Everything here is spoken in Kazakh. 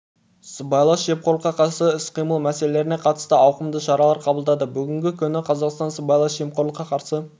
сыбайлас жемқорлыққа қарсы іс-қимыл мәселелеріне қатысты ауқымды шаралар қабылдады бүгінгі күні қазақстан сыбайлас жемқорлыққа қарсы